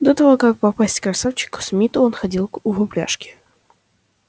до того как попасть к красавчику смиту он ходил в упряжке